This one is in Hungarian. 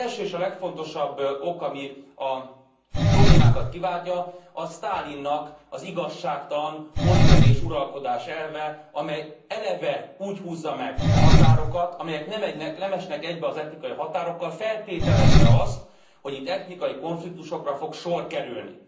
Az első és a legfontosabb ok, ami a problémákat kiváltja az Sztálinnak az igazságtalan, oszd meg és uralkodás elve, amely eleve úgy húzza meg a határokat, amelyek nem esnek egybe az etnikai határokkal, feltételezve azt, hogy itt etnikai konfliktusokra fog sor kerülni.